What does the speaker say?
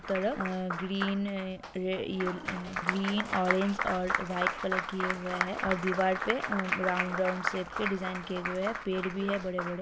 दोनो तरफ ग्रीन है ग्रीन ऑरेंज और वाइट कलर किए हुऐ हैं और दीवार पे राउंड राउंड शेप के डिजाइन किए हुऐ हैं पेड़ भी हैं बड़े बड़े।